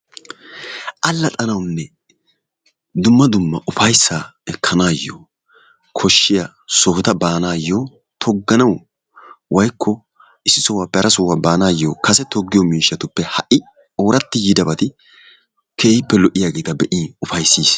Allaxxanawunne dumma dumma ufayssaa ekkanawu koshshiya sohota baanaayyo togganawu/issi sohuwappe hara sohuwa baanaayyo kase toggiyo miishshatuppe ha"i ooratti yiidabata be'iini ufayssiis.